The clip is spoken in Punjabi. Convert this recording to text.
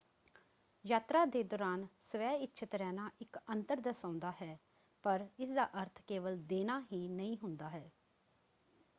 ਯਾਤਰਾ ਦੇ ਦੌਰਾਨ ਸਵੈਇੱਛਤ ਰਹਿਣਾ ਇੱਕ ਅੰਤਰ ਦਰਸਾਉਂਦਾ ਹੈ ਪਰ ਇਸਦਾ ਅਰਥ ਕੇਵਲ ਦੇਣਾ ਹੀ ਨਹੀਂ ਹੁੰਦਾ ਹੈ।